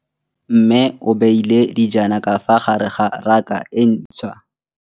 Mmê o beile dijana ka fa gare ga raka e ntšha.